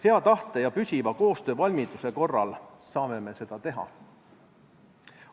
Hea tahte ja püsiva koostöövalmiduse korral saame me seda teha.